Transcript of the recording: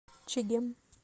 чегем